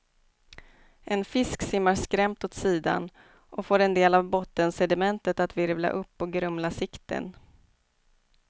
En fisk simmar skrämt åt sidan och får en del av bottensedimentet att virvla upp och grumla sikten.